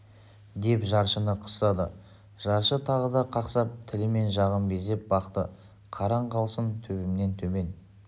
деп жаршыны қыстады жаршы тағы да қақсап тілі мен жағын безеп бақты қараң қалсын төбемнен төмен